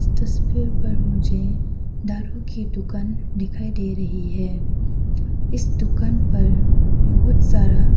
तस्वीर पर मुझे दारु की दुकान दिखाई दे रही है इस दुकान पर बहुत सारा --